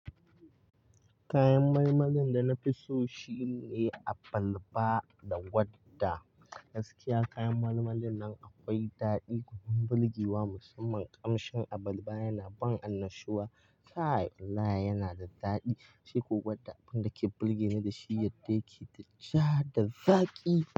Kayan malmalin da na fi so shine abalba da gwadda. Gaskiya kayan malmalin nan akwai daɗi, kuma bulgiwa musamman kamshin abalba yana ban annashuwa. Kai wallahi yana da daɗi, shi ko gwadda abinda ke bulge ni da shi yadda yake da ja da zaƙi.